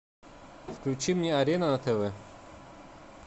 включи мне арена на тв